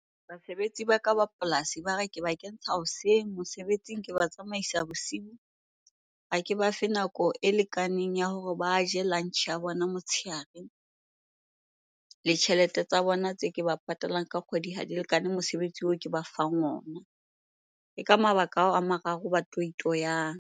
Basebetsi ba ka ba polasi ba re, ke ba kentsha hoseng mosebetsing, ke ba tsamaisa bosibu. Ha ke ba fe nako e lekaneng ya hore ba je lunch-e ya bona motshehare. Le tjhelete tsa bona tse ke ba patalang ka kgwedi ha di lekane mosebetsi oo ke ba fang ona. Ke ka mabaka ao a mararo ba toyitoyang.